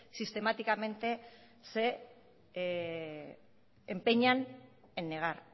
sistemáticamente se empeñan en negar